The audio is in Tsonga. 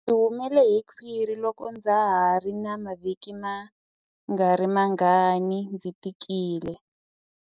Ndzi humele hi khwiri loko ndza ha ri na mavhiki mangarimangani ndzi tikile.